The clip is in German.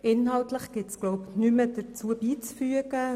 Inhaltlich gibt es nichts mehr beizufügen.